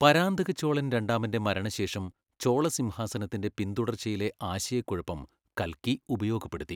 പരാന്തക ചോളൻ രണ്ടാമന്റെ മരണശേഷം ചോളസിംഹാസനത്തിന്റെ പിന്തുടർച്ചയിലെ ആശയക്കുഴപ്പം കൽക്കി ഉപയോഗപ്പെടുത്തി.